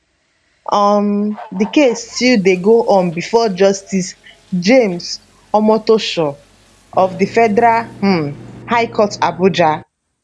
um di case still dey go on bifor justice james omotosho of di federal um high court abuja